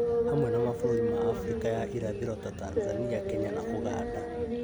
hamwe na mabũrũri ma Afrika ya Irathĩro ta Tanzania, Kenya, na Uganda.